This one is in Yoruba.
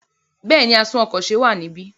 Bẹ́ẹ̀ni, atún-ọkọ̀-se wà níbí.